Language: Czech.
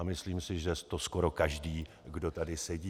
A myslím si, že to skoro každý, kdo tady sedí.